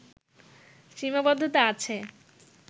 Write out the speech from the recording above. সীমাবদ্ধতা আছে